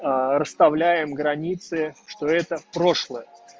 расставляем границы что это прошлое